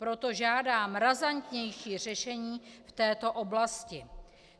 Proto žádám razantnější řešení v této oblasti.